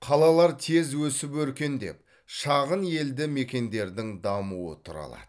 қалалар тез өсіп өркендеп шағын елді мекендердің дамуы тұралады